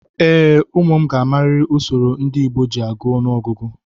Ee, ụmụ m ga-amarịrị usoro ndị Igbo ji agụ ọnụọgụgụ.